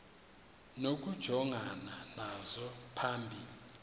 nokujongana nazo phambi